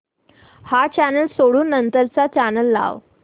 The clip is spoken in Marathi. हा चॅनल सोडून नंतर चा चॅनल लाव